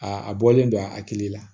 Aa a bɔlen don a hakili la